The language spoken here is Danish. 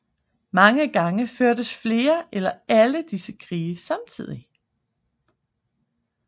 Mange gange førtes flere eller alle disse krige samtidigt